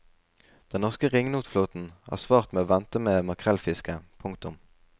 Den norske ringnotflåten har svart med å vente med makrellfisket. punktum